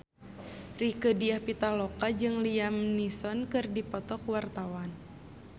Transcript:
Rieke Diah Pitaloka jeung Liam Neeson keur dipoto ku wartawan